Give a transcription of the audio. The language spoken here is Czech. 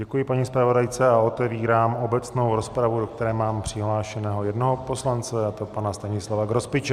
Děkuji paní zpravodajce a otevírám obecnou rozpravu, do které mám přihlášeného jednoho poslance, a to pana Stanislava Grospiče.